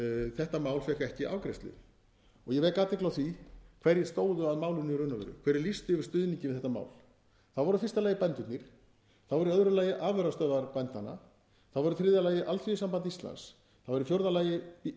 þetta mál fékk ekki afgreiðslu ég vek athygli á því hverjir stóðu að málinu í raun og veru hverjir lýstu yfir stuðningi við þetta mál það voru í fyrsta lagi bændurnir það voru í öðru lagi afurðastöðvar bændanna það var í þriðja lagi alþýðusamband íslands það var í fjórða lagi